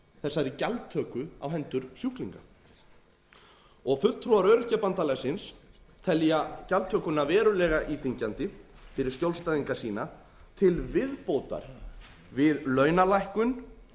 þessari gjaldtöku á hendur sjúklingum fulltrúar öryrkjabandalagsins telja gjaldtökuna verulega íþyngjandi fyrir skjólstæðinga sína til viðbótar breyting ýmissa laga fyrir skjólstæðinga sína til viðbótar við launalækkun